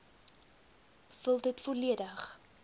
vul dit volledig